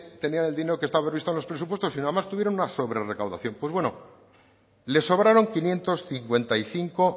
tenían el dinero que estaba previsto en los presupuestos sino además tuvieron una sobre recaudación pues bueno les sobraron quinientos cincuenta y cinco